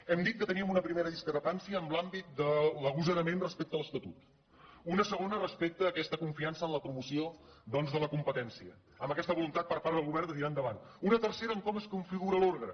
hem dit que teníem una primera discrepància en l’àmbit de l’agosarament respecte a l’estatut una segona res·pecte a aquesta confiança en la promoció doncs de la competència amb aquesta voluntat per part del govern de tirar endavant una tercera amb com es configura l’òrgan